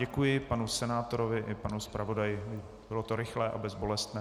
Děkuji panu senátorovi i panu zpravodaji, bylo to rychlé a bezbolestné.